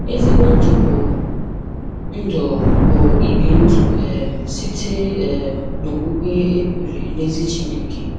Ezigbo Ndụ bụ Ndụ bụ ibi ndụ um site um n'okwukwe e kwere n'ezi Chineke